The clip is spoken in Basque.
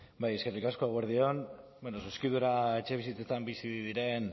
bai eskerrik asko eguerdi on zuzkidura etxebizitzetan bizi diren